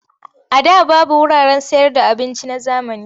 A da babu wuraren sayarda abinci na zamani.